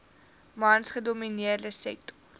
mans gedomineerde sektor